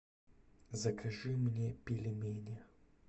закажи мне пельмени